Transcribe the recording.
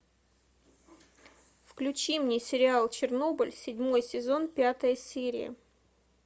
включи мне сериал чернобыль седьмой сезон пятая серия